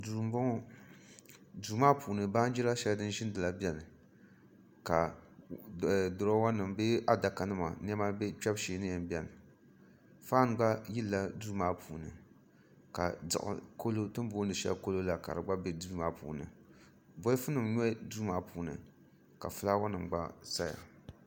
duu m-bɔŋɔ duu maa puuni baanjir' shɛli din ʒiinila beni ka nema kpebu shee beni faan gba yilila duu maa puuni ka ti ni booni shɛli kalo la gba be duu maa puuni bolifunima nyɔ duu maa puuni ka fulaawaasinima gba saya